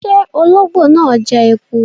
Ṣe ologbo naa jẹ eku?